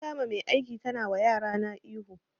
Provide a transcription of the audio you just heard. Na kama mai aiki na tana wa yarana ihu